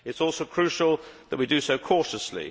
It is also crucial that we do so cautiously.